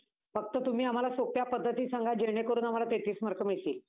फक्त तुम्ही आम्हाला सोप्या पद्धतीने सांगा. जेणेकरून आम्हाला तेहतीस mark मिळतील.